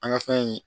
An ka fɛn in